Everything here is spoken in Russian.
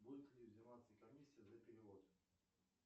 будет ли взиматься комиссия за перевод